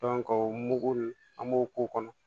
o mugu ye an b'o k'o kɔnɔ